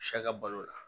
Sɛ ka balo la